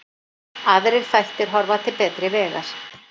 Aðrir þættir horfa til betri vegar